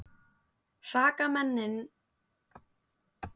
Hrakmennin hlutu að skipta tugum.